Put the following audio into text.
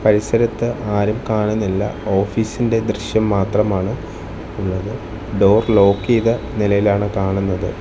പരിസരത്ത് ആരും കാണുന്നില്ല ഓഫീസിന്റെ ദൃശ്യം മാത്രമാണ് ഉള്ളത് ഡോർ ലോക്ക് ചെയ്ത നിലയിലാണ് കാണുന്നത്.